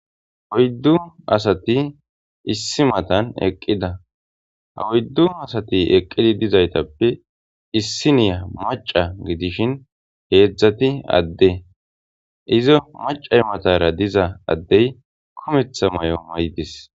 Oydu asati issi matan eqida ha oydu asati eqidi dizaytappe issiniya maca gidishin hedzdzati adde iza macematara diza adde kumetha mayo mayides.